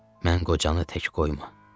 Mən qocanı tək qoyma.”